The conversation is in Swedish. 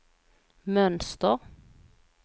mönster